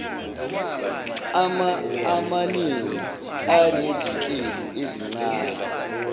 amaningi anezinhlelo ezincane